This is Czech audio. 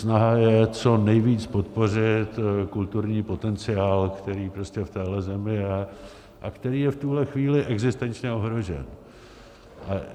Snaha je co nejvíc podpořit kulturní potenciál, který prostě v téhle zemi je a který je v tuhle chvíli existenčně ohrožen.